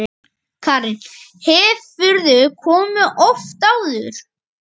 Karen: Hefurðu komið oft áður?